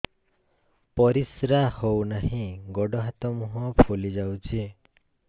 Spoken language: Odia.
ପରିସ୍ରା ହଉ ନାହିଁ ଗୋଡ଼ ହାତ ମୁହଁ ଫୁଲି ଯାଉଛି